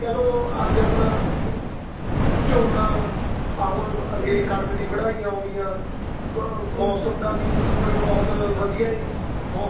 ਜਿਵੇਂ ਕਹਿ ਲੋ ਅੱਜ ਆਪਣਾ ਅਹ ਝੋਨਾ ਆ ਹੁਣ ਅੱਗੇ ਕਣਕ ਦੀ ਵਡਾਈ ਆਉਣੀ ਆ ਮੋਸਮਦਾ news ਪਰ ਬਹੁਤ ਵਧੀਆ ਏ ਮੋਸਮ